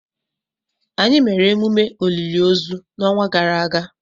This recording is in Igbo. Anyị mere emume olili ozu n' ọnwa gara aga